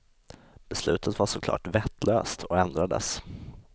Beslutet var såklart vettlöst och ändrades.